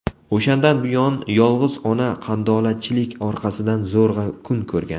O‘shandan buyon yolg‘iz ona qandolatchilik orqasidan zo‘rg‘a kun ko‘rgan.